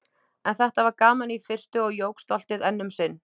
En þetta var gaman í fyrstu- og jók stoltið enn um sinn.